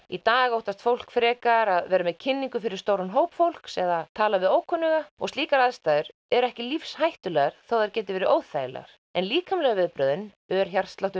í dag óttast fólk frekar að vera með kynningar fyrir stóran hóp fólks eða tala við ókunnuga og slíkar aðstæður eru ekki lífshættulegar þótt þær geti verið óþægilegar en líkamlegu viðbrögðin ör